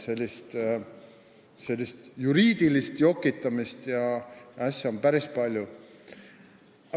Sellist juriidilist jokitamist ja asja on päris palju.